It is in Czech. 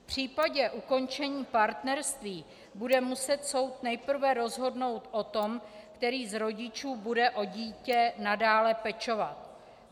V případě ukončení partnerství bude muset soud nejprve rozhodnout o tom, který z rodičů bude o dítě nadále pečovat.